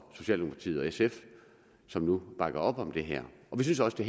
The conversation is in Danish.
socialdemokratiet og sf som nu bakker op om det her vi synes også det